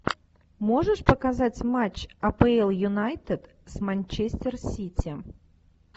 можешь показать матч апл юнайтед с манчестер сити